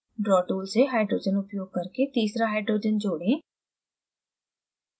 draw tool से hydrogen उपयोग करके तीसरा hydrogen जोड़ें